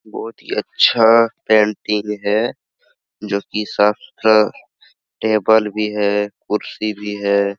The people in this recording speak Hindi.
बहुत ही अच्छा कैंटीन है जो की साफ सुथरा टेबल भी है कुर्सी भी है ।